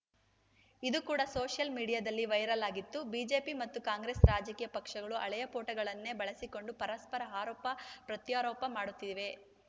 ಇದೂ ಕೂಡ ಸೋಷಿಯಲ್‌ ಮೀಡಿಯಾದಲ್ಲಿ ವೈರಲ್‌ ಆಗಿತ್ತು ಬಿಜೆಪಿ ಮತ್ತು ಕಾಂಗ್ರೆಸ್‌ ರಾಜಕೀಯ ಪಕ್ಷಗಳು ಹಳೆಯ ಫೋಟೋಗಳನ್ನೇ ಬಳಸಿಕೊಂಡು ಪರಸ್ಪರ ಆರೋಪ ಪ್ರತ್ಯಾರೋಪ ಮಾಡುತ್ತಿವೆ